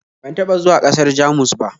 Ban taɓa zuwa ƙasar Jamus ba